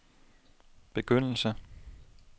begyndelse